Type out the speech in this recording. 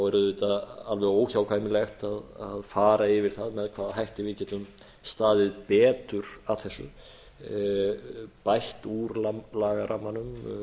er auðvitað alveg óhjákvæmilegt að fara yfir það með hvaða hætti við getum staðið betur að þessu bætt úr lagarammanum